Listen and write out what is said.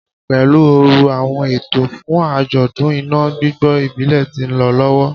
Pelu ooru, awọn eto fun ajọdun ina gbigbo ibile ti nlọ lọwọ